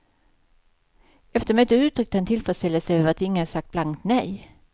Efter mötet uttryckte han tillfredsställelse över att ingen sagt blankt nej.